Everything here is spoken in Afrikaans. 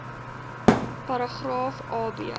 paragraaf a b